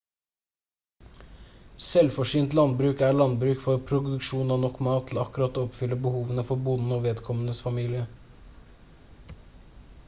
selvforsynt landbruk er landbruk for produksjon av nok mat til å akkurat oppfylle behovene for bonden og vedkommendes familie